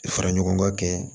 Fara ɲɔgɔn ga kɛ